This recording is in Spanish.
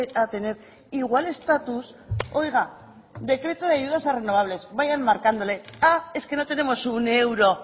a tener igual estatus oiga decreto de ayudas de renovables vayan marcándole ah es que no tenemos un euro